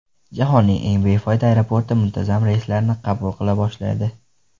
Jahonning eng befoyda aeroporti muntazam reyslarni qabul qila boshlaydi.